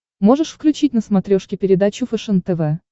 можешь включить на смотрешке передачу фэшен тв